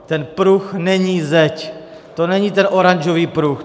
Ten pruh není zeď, to není ten oranžový pruh.